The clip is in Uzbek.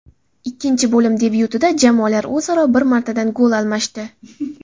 Ikkinchi bo‘lim debyutida jamoalar o‘zaro bir martadan gol almashdi.